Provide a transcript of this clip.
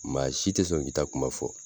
Maa si tɛ sɔn k'i ta kuma fɔ